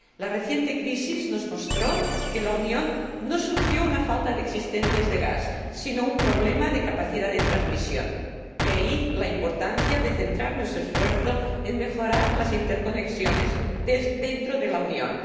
La reciente crisis nos mostró que la Unión no sufrió una falta de existencias de gas, sino un problema de capacidad de transmisión, de ahí la importancia de centrar nuestro esfuerzo en mejorar las interconexiones dentro de la Unión.